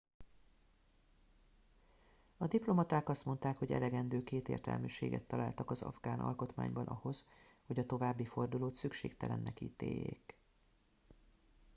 a diplomaták azt mondták hogy elegendő kétértelműséget találtak az afgán alkotmányban ahhoz hogy a további fordulót szükségtelennek ítéljék